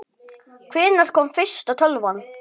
Hvenær kom fyrsta tölvan?